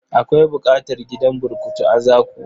Akwai buƙatar gidan burkutu a Zaku.